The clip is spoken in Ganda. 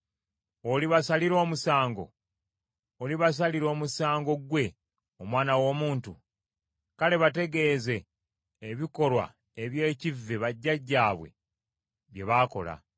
“Olibasalira omusango? Olibasalira omusango ggwe omwana w’omuntu? Kale bategeeze ebikolwa eby’ekivve bajjajjaabwe bye baakola,